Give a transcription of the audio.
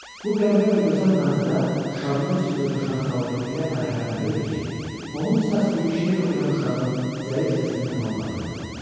Bu qəribə və gözəl mənzərə şadlıq içində coşan xalqı elə fərəhləndirirdi ki, onun səs-küyü şeir oxuyan uşağın zəif səsini tamam batırdı.